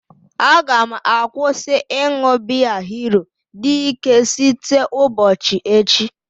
Aga m akwụsị ịṅụ biya hero dike site ụgbochi echi